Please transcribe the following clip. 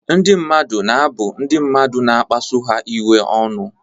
Ndị mmadụ na-abụ ndị mmadụ na-akpasu ha iwe ọnụ.